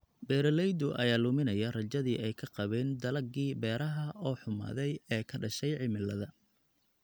Beeralayda ayaa luminaya rajadii ay ka qabeen dalaggii beeraha oo xumaaday ee ka dhashay cimilada.